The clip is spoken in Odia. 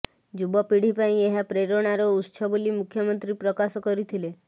ଯୁବ ପିଢ଼ି ପାଇଁ ଏହା ପ୍ରେରଣାର ଉତ୍ସ ବୋଲି ମୁଖ୍ୟମନ୍ତ୍ରୀ ପ୍ରକାଶ କରିଥିଲେ